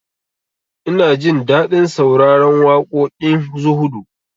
Ina jin daɗin sauraron waƙoƙin zuhudu